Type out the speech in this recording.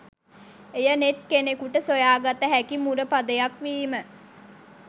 එය නෙත් කෙනෙකුට සොයා ගත හැකි මුරපදයක් වීම